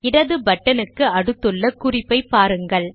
இடது பட்டன் க்கு அடுத்துள்ள குறிப்பை பாருங்கள்